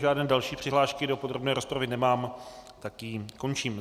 Žádné další přihlášky do podrobné rozpravy nemám, tak ji končím.